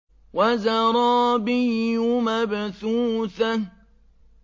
وَزَرَابِيُّ مَبْثُوثَةٌ